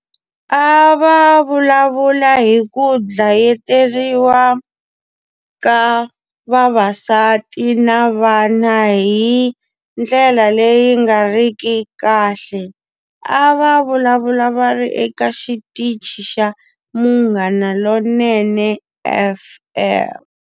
A va vulavula hi ku dlayeteriwa ka vavasati na vana hi ndlela leyi nga ri ki kahle. A va vulavula va ri eka xitichi xa Munghana Lonene F_M.